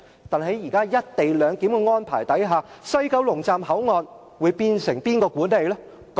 但是，在"一地兩檢"的安排下，西九龍站口岸將會由誰管理呢？